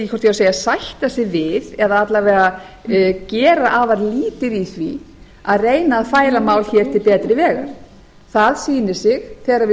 á að segja sætta sig við eða alla vega gera afar lítið í því að reyna að færa mál hér til betri vegar það sýnir sig þegar við